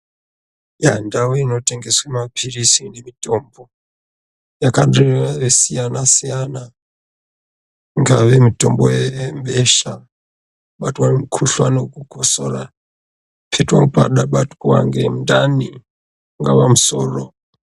Yaa ndau inotengeswe mapirizi nemitombo yakange yakasiyana siyana ngeiyi mutombo webesha kubatwa ngemukhuhlani wekukosora kuiitewo pandabatwa ngemundani ungaa musoro.